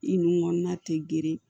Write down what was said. I nun kɔnɔna tɛ geren